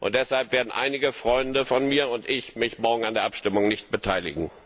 Deshalb werden einige Freunde von mir und ich uns morgen an der Abstimmung nicht beteiligen.